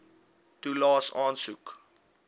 toelaes aansoek